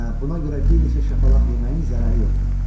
Hə, buna görə bir neçə şapalaq yeməyin zərəri yoxdur.